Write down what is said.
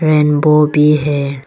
Rainbow भी है।